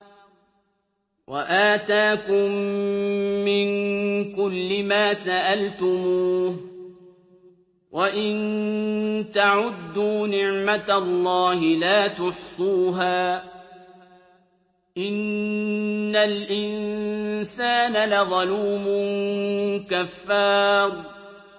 وَآتَاكُم مِّن كُلِّ مَا سَأَلْتُمُوهُ ۚ وَإِن تَعُدُّوا نِعْمَتَ اللَّهِ لَا تُحْصُوهَا ۗ إِنَّ الْإِنسَانَ لَظَلُومٌ كَفَّارٌ